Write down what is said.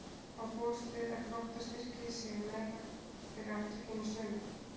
Má búast við að Grótta styrki sig meira fyrir átökin í sumar?